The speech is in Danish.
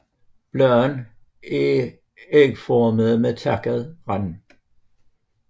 Bladene er ægformede med takket rand